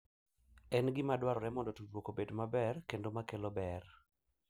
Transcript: En gima dwarore mondo tudruok obed maber kendo ma kelo ber.